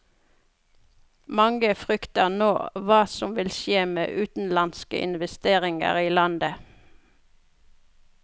Mange frykter nå hva som vil skje med utenlandske investeringer i landet.